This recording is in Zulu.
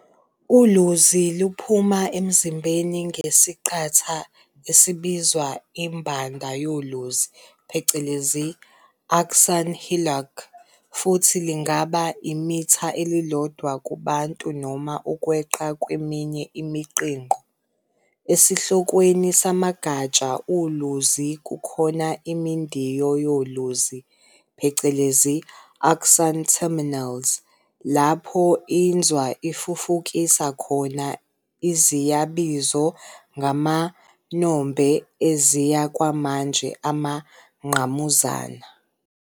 Uluzi luphuma emzimbeni ngesiqatha esibizwa imbanda yoluzi phecelezi axon hillock, futhi lungaba imitha elilodwa kubantu noma ukweqa kweminye imiqhinqo. Esihlokweni samagatsha oluzi kukhona imidiyo yoluzi phecelezi axon terminals, lapho Inzwa ifufukisa khona iziyabizo ngamanombe eziya kwamanje amangqamuzana.